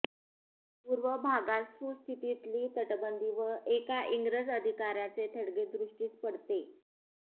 पूर्व भागात सुस्थितीतली तटबंदी व एका इंग्रज अधिकाऱ्याचे थडगे दृष्टीस पडते